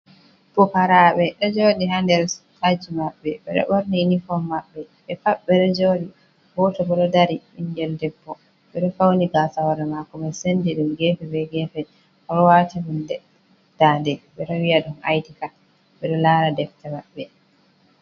Pukarabe ɗo joɗi ha nder aji maɓɓe ɓe ɗo ɓorni unifom manɓɓe, ɓe pat ɓe ɗo joɗi, goto bo ɗo dari, ɓingel debbo ɓe ɗo fauni gasa hore mako mai sendi ɗum gefe be gefe, o ɗo wati hunde dande ɓe ɗo wiya ɗum id card, ɓe ɗo lara defte maɓɓe.